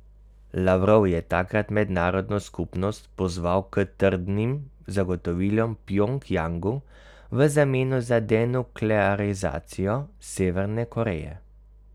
Lavrov je takrat mednarodno skupnost pozval k trdnim zagotovilom Pjongjangu v zameno za denuklearizacijo Severne Koreje.